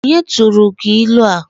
Onye tụrụ gị ịlụ a?